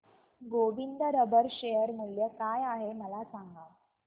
Govind rubber share मूल्य काय आहे मला सांगा